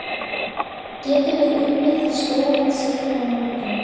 Getum við unnið það stóran sigur á morgun?